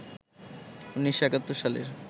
১৯৭১ সালের